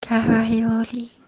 ага георгий